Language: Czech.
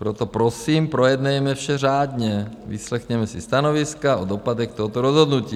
Proto prosím projednejme vše řádně, vyslechněme si stanoviska o dopadech tohoto rozhodnutí.